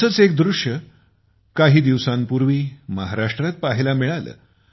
असेच एक दृश्य काही दिवसांपूर्वी महाराष्ट्रात पाहायला मिळाले